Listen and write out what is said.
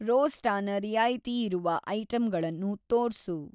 ರೋಸ್ಟಾನ ರಿಯಾಯಿತಿಯಿರುವ‌ ಐಟಂಗಳನ್ನು‌ ತೋರ್ಸು.